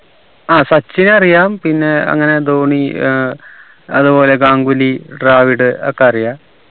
ആ സച്ചിനെ അറിയാം പിന്നെ അങ്ങനെ ധോണി ഏർ അത്പോലെ ഗാംഗുലി ദ്രാവിഡ് ഒക്കെ അറിയാ